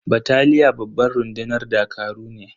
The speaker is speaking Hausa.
Bataliya babban rundunar dakaru ne.